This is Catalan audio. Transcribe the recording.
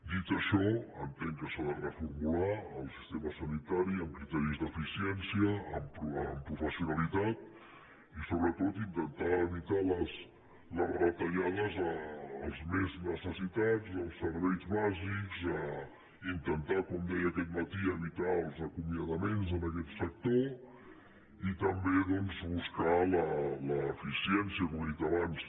dir això entenc que s’ha de reformular el sistema sa·nitari amb criteris d’eficiència amb professionalitat i sobretot intentar evitar les retallades als més necessi·tats els serveis bàsics intentar com deia aquest matí evitar els acomiadaments en aquest sector i també doncs buscar l’eficiència com he dit abans